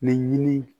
Ni ɲini